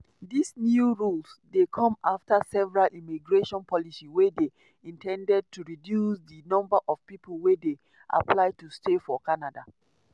dis new rules dey come afta several immigration policy wey dey in ten ded to reduce di number of pipo wey dey apply to stay for canada.